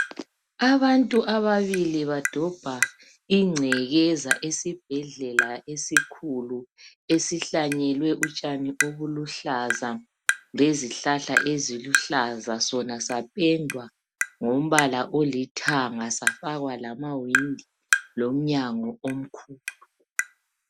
Abantu ababili badobha ingcekeza esibhedlela esikhulu. Esihlanyelwe utshani obuluhlaza lezihlahla eziluhlaza. Sona sapendwa ngombala olithanga safakwa lama windi lomnyango omkhulu.